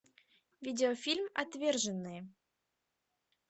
видеофильм отверженные